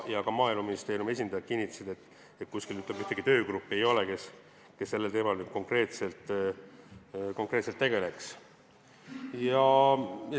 Ka Maaeluministeeriumi esindajad kinnitasid, et kuskil ei ole töögruppi, kes selle teemaga konkreetselt tegeleks.